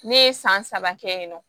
Ne ye san saba kɛ yen nɔ